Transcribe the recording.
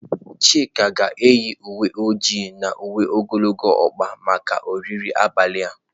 Chika ga-eyi uwe ojii na uwe ogologo ọkpa maka oriri abalị a.